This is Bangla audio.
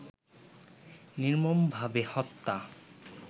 নির্মমভাবে হত্যা